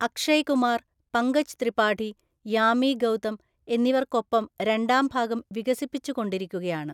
അക്ഷയ് കുമാർ, പങ്കജ് ത്രിപാഠി, യാമി ഗൌതം എന്നിവർക്കൊപ്പം രണ്ടാം ഭാഗം വികസിപ്പിച്ചുകൊണ്ടിരിക്കുകയാണ്.